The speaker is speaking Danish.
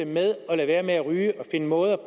med at lade være med at ryge og finde måder